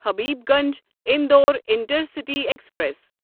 Habibganj Indore intercity express